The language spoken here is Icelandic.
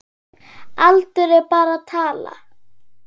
Aldur er bara tala.